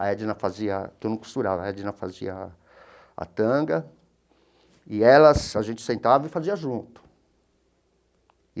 A Edna fazia a, que eu não costurava, a Edna fazia a a tanga, e ela a gente sentava e fazia junto.